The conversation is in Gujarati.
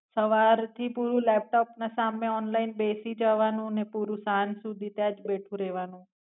સવાર થી પૂરું લેપ્ટોપ ને સામે ઓનલાઇન બેસી જવાનું ને પૂરું સાંજ સુધી તા જ બેઠું રેવાનું.